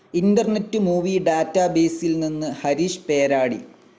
Internet movie ഡാറ്റബേസിൽ നിന്ന് ഹരീഷ് പേരാടി.